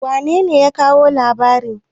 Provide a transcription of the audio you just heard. wanene ya kawo labarin?